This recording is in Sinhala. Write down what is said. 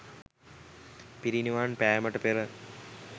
පිරිනිවන් පෑමට පෙර